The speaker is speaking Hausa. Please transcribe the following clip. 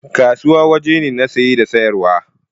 Kasuwa waje na saye da siyarwa